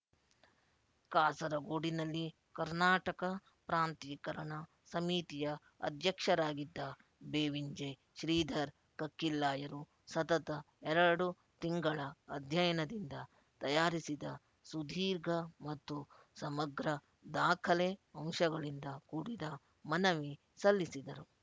ಕಾಸರಗೋಡಿನಲ್ಲಿ ಕರ್ನಾಟಕ ಪ್ರಾಂತೀಕರಣ ಸಮಿತಿಯ ಅಧ್ಯಕ್ಷರಾಗಿದ್ದ ಬೇವಿಂಜೆ ಶ್ರೀಧರ್ ಕಕ್ಕಿಲ್ಲಾಯರು ಸತತ ಎಡರು ತಿಂಗಳ ಅಧ್ಯಯನದಿಂದ ತಯಾರಿಸಿದ ಸುದೀರ್ಘ ಮತ್ತು ಸಮಗ್ರ ದಾಖಲೆ ಅಂಶಗಳಿಂದ ಕೂಡಿದ ಮನವಿ ಸಲ್ಲಿಸಿದರು